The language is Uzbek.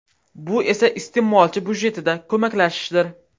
Bu esa iste’molchi budjetida ko‘maklashishdir.